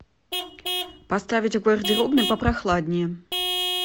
поставить в гардеробной попрохладнее